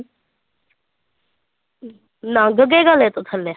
ਲੰਘ ਗਏ ਗਲੇ ਤੋਂ ਥੱਲੇ।